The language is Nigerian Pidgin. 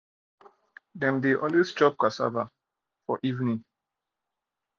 dem de always chop cassava chop cassava food evening